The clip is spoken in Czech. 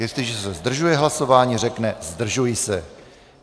Jestliže se zdržuje hlasování, řekne "zdržuji se".